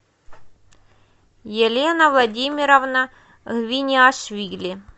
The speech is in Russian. елена владимировна виниашвили